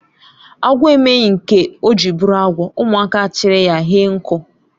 Agwọ emeghị nke ọ jiri bụrụ agwọ ụmụaka achri ya hie nku